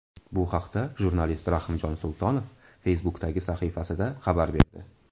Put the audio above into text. Bu haqda jurnalist Rahimjon Sultonov Facebook’dagi sahifasida xabar berdi .